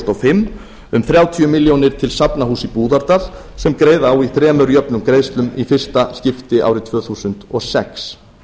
og fimm um þrjátíu milljónir til safnahúss í búðardal sem greiða á í þremur jöfnum greiðslum í fyrsta skipti árið tvö þúsund og sex